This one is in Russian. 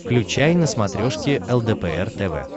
включай на смотрешке лдпр тв